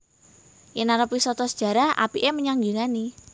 Yen arep wisata sejarah apike menyang Yunani